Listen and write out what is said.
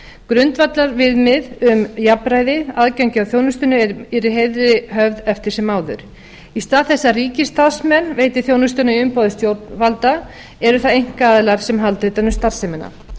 grundvallarviðmið um jafnræði aðgengi að þjónustunni yrði í heiðri höfð eftir sem áður í stað þess að ríkisstarfsmenn veiti þjónustuna í umboði stjórnvalda eru það einkaaðilar sem halda utan um starfsemina